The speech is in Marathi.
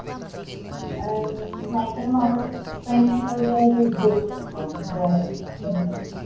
अं नाहीतर मग आपण pendant वगैरे gift देऊ शकतो. गळ्यात